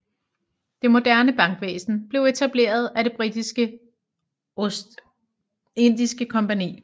Det moderne bankvæsen blev etableret af Det britiske Ostindiske kompagni